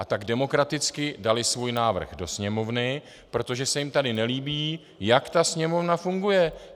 A tak demokraticky dali svůj návrh do Sněmovny, protože se jim tady nelíbí, jak ta Sněmovna funguje.